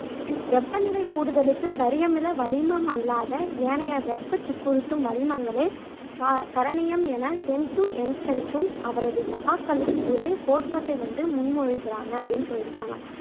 வெப்பநிலை கூடுதலுக்கு கரியமில வளிமம் அல்லாத ஏனைய வெப்பசிக்குறுத்தும் வளிமங்களே க கரணியம் என சேம்சு என்சன்னும் அவரது சகாக்களும் ஒரு கோட்பாட்டை வந்து முன்மொழிகிறாங்க அப்படின்னு சொல்லியிருக்காங்க